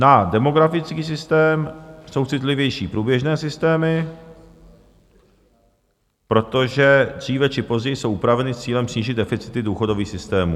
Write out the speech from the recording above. Na demografický systém jsou citlivější průběžné systémy, protože dříve či později jsou upraveny s cílem snížit deficity důchodových systémů.